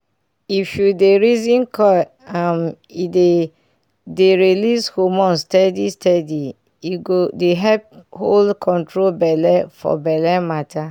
if u dey reason coil um e dey dey release hormones steady steady e go dey help hold control belle for belle matter